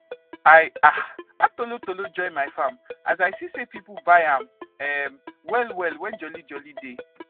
i um add tolotolo join my farm as i se say people buy am um well well when joli joli dey